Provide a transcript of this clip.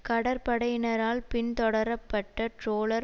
கடற்படையினரால் பின்தொடரப்பட்ட ட்ரோலர்